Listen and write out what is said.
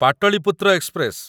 Pataliputra express